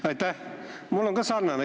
Aitäh!